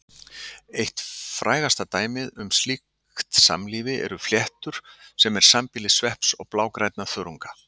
Eitt frægasta dæmið um slíkt samlífi eru fléttur sem er sambýli svepps og blágrænna þörunga.